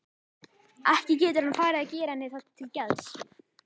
Ekki getur hann farið að gera henni það til geðs?